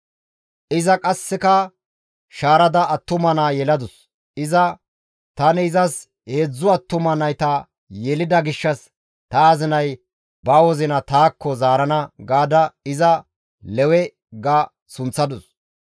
Iza qasseka shaarada attuma naa yeladus; iza, «Tani izas heedzdzu attuma nayta yelida gishshas ta azinay ba wozina taakko zaarana» gaada iza Lewe ga sunththadus.